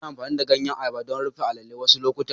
Ana amfani da ganyen ayaba don rufe a'lele wasu lokuta.